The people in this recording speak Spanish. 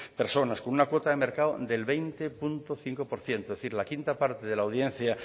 personas con una cuota de mercado del veinte coma cinco por ciento es decir la quinta parte de la audiencia